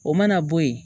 O mana bɔ yen